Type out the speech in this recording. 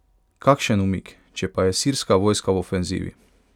Kakšen umik, če pa je sirska vojska v ofenzivi?